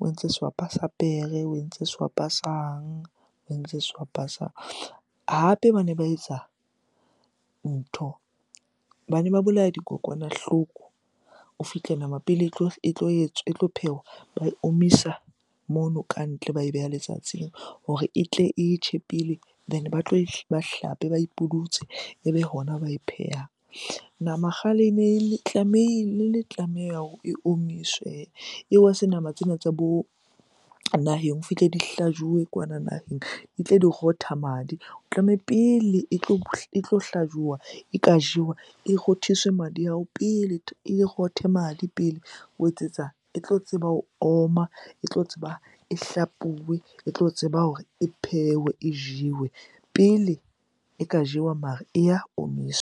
o entse sehwapa sa pere, o entse sehwapa sang, o entse sehwapa sang. Hape bane ba etsa ntho, bane ba bolaya dikokwanahloko. O fihle nama pele etlo etswa, etlo phehwa, ba e omisa mono kantle ba e beha letsatsing hore e tle e tjhe pele then ba tloba e, ba e hlape, ba ipudutse ebe hona ba e phehang. Nama kgale ene tlameha hore e omiswe. Se nama tsena tsa bo naheng, o fihle di hlajuwe kwana naheng di rotha madi. O pele e tlo hlajuwa, e ka jewa. E rothiswe madi ao pele, e rothe madi pele ho etsetsa e tlo tseba ho oma, e tlo tseba e hlapuwe, e tlo tseba hore e phehwe e jewe. Pele e ka jewa mara e ya omiswa.